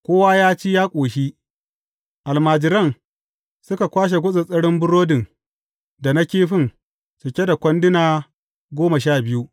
Kowa ya ci, ya ƙoshi, almajiran suka kwashe gutsattsarin burodin da na kifin cike da kwanduna goma sha biyu.